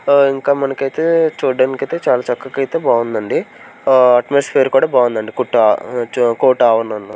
ఆ ఇంకా మనకైతే చూడడానికైతే చాలా చక్కగా అయితే బాగుందండిఆ అట్మాస్ఫియర్ కూడా బాగుందండి కుట్ట-- కోట అవును అన్న.